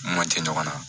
Ma jɛ ɲɔgɔn na